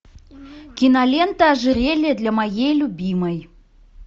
кинолента ожерелье для моей любимой